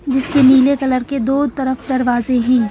जिसके नीले कलर के दो तरफ दरवाजे हैं।